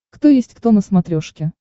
кто есть кто на смотрешке